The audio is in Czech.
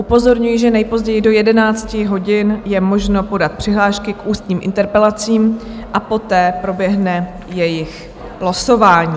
Upozorňuji, že nejpozději do 11 hodin je možno podat přihlášky k ústním interpelacím a poté proběhne jejich losování.